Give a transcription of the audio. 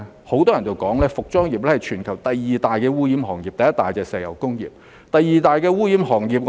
很多人說服裝業是全球第二大污染行業，而第一大是石油工業。